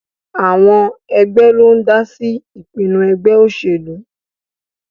Àwọn ẹgbẹ́ ló ń dá sí ìpinnu ẹgbẹ́ òṣèlú